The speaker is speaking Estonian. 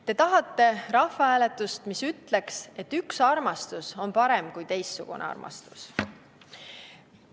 Te tahate rahvahääletust, mis ütleks, et üks armastus on parem kui teistsugune armastus.